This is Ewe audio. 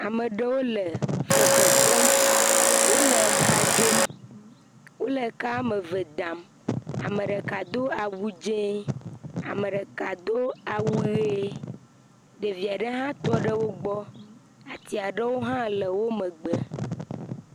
Ame ɖewo le fefe fem wole ka dzom, wole ka woame eve dam ame ɖeka do awu dzɛ, ame ɖeka do awu ʋe, ɖevi aɖe hã tɔ ɖe wo gbɔ, ati aɖewo hã le wo megbe.